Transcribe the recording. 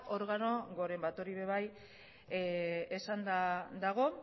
organo goren bat hori ere bai esanda dago